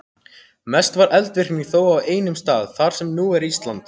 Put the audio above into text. Mest var eldvirknin þó á einum stað, þar sem nú er Ísland.